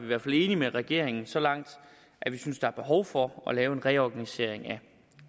hvert fald enige med regeringen så langt at vi synes der er behov for at lave en reorganisering